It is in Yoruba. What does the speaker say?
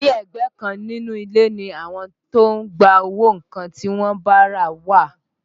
Ní ẹ̀gbẹ́ kan nínú ilé ni àwọn tó ń gba owó nǹkan tí wọ́n bá rà wà